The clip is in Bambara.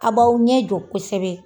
A b'aw ɲɛjɔ kosɛbɛ.